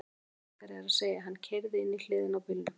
Mun algengara er að segja: Hann keyrði inn í hliðina á bílnum